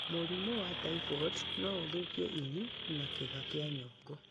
Mũrimũ wa typhoid no ũthũkie ini na kĩĩga kia nyongo.